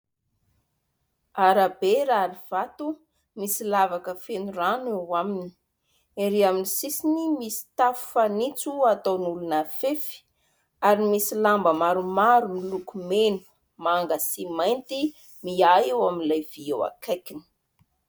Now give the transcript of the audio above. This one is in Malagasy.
Arabe rary vato, misy lavaka feno rano eo aminy. Erỳ amin'ny sisiny misy tafo fanitso ataon'olona fefy ary misy lamba maromaro miloko mena, manga sy mainty mihahy eo amin'ilay vy eo akaikiny.